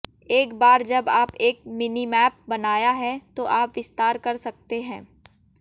एक बार जब आप एक मिनीमैप बनाया है तो आप विस्तार कर सकते हैं